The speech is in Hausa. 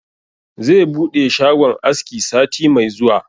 Zai buɗe shagon aski sati mai zuwa